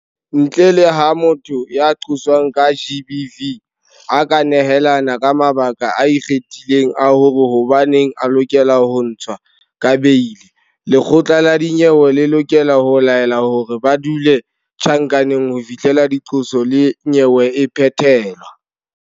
Ntle le ha motho ya qoswang ka GBV a ka nehelana ka mabaka a ikgethileng a hore hobaneng a lokela ho ntshwa ka beili, lekgotla la dinyewe le lokela ho laela hore ba dule tjhankaneng ho fihlela diqoso le nyewe e phethelwa.